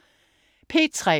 P3: